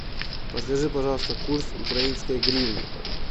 подскажи пожалуйста курс украинской гривны